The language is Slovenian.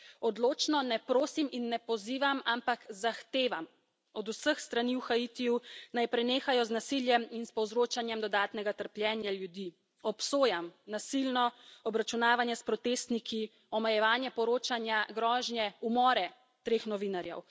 Odločno ne prosim in ne pozivam, ampak zahtevam od vseh strani v Haitiju, naj prenehajo z nasiljem in s povzročanjem dodatnega trpljenja ljudi. Obsojam nasilno obračunavanje s protestniki, omejevanje poročanja, grožnje, umore treh novinarjev.